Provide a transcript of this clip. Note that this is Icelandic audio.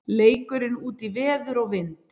Leikurinn útí veður og vind